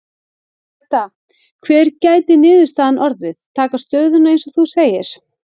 Edda: Hver gæti niðurstaðan orðið, taka stöðuna eins og þú segir?